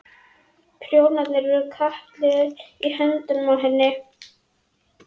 Prjónarnir eru kattliðugir í höndunum á henni.